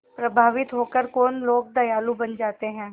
प्रभावित होकर कौन लोग दयालु बन जाते हैं